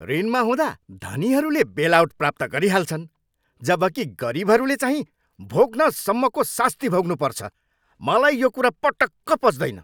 ऋणमा हुँदा धनीहरूले बेलआउट प्राप्त गरिहाल्छन्, जबकि गरिबहरूले चाहिँ भोग्नसम्मको सास्ती भोग्नुपर्छ। मलाई यो कुरा पटक्क पच्दैन।